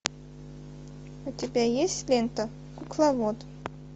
у тебя есть лента кукловод